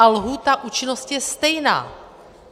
A lhůta účinnosti je stejná.